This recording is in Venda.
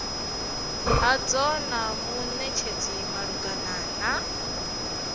hadzo na munetshedzi malugana na